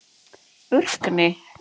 Burkni